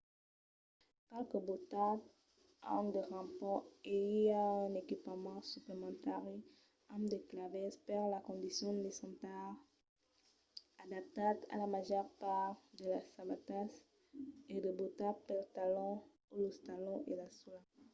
qualques bòtas an de rampons e i a un equipament suplementari amb de clavèls per las condicions lisantas adaptat a la màger part de las sabatas e de bòtas pels talons o los talons e la sòla